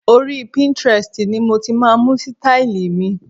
Orí Pinterest ni mo ti máa ń mú sítáílì mi.